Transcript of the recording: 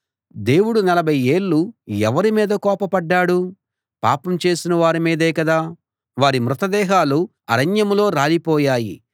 దేవుడు నలభై ఏళ్ళు ఎవరి మీద కోపపడ్డాడు పాపం చేసిన వారి మీదే కదా వారి మృతదేహాలు అరణ్యంలో రాలి పోయాయి